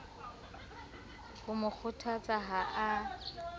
ho mo kgothatsa ha a